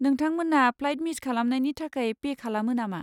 नोंथांमोना flight miss खालामनायनि थाखाय पे खालामो नामा?